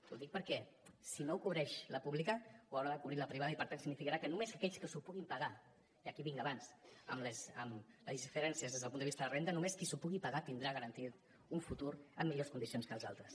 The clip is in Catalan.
ho dic perquè si no ho cobreix la pública ho haurà de cobrir la privada i per tant significarà que només aquells que s’ho puguin pagar i aquí vinc abans amb les diferències des del punt de vista de renda només que s’ho pugui pagar tindrà garantit un futur amb millors condicions que els altres